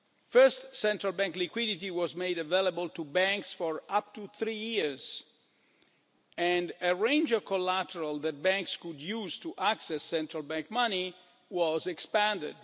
First, central bank liquidity was made available to banks for up to three years and a range of collateral that banks could use to access central bank money was expanded.